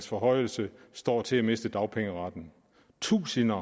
forhøjelse står til at miste dagpengeretten tusinde